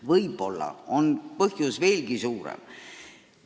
Võib-olla on selle kõige taga veelgi suurem põhjus.